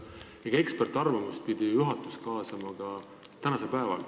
Mingit eksperdiarvamust peab juhatus ju kaasama ka praegu.